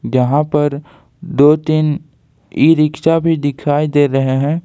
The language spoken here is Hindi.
जहां पर दो तीन ई रिक्शा भी दिखाई दे रहे हैं।